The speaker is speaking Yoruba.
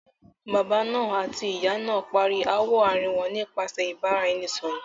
Baba náà àti ìyá náà parí ááwọ̀ àárín wọn nípasẹ̀ ìbára- ẹni- sọ̀rọ̀.